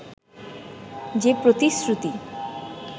যে প্রতিশ্রুতি